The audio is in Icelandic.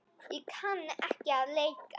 Ég kann ekki að leika.